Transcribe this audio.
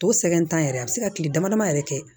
O sɛgɛn t'an yɛrɛ a bɛ se ka kile dama dama yɛrɛ kɛ